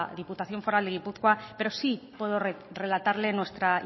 diputación foral de gipuzkoa pero sí puedo relatarle nuestra